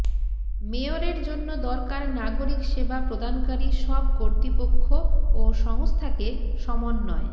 মেয়রের জন্য দরকার নাগরিক সেবা প্রদানকারী সব কর্তৃপক্ষ ও সংস্থাকে সমন্বয়